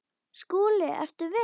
SKÚLI: Ertu viss?